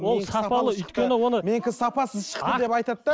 ол сапалы өйткені оны менікі сапасыз шықты деп айтады да